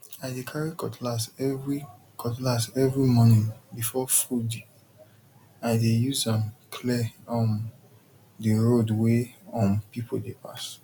i dey carry cutlass every cutlass every morning before foodi dey use am clear um the road wey um people dey pass